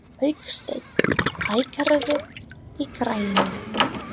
Hauksteinn, hækkaðu í græjunum.